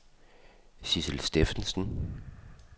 Sidsel Steffensen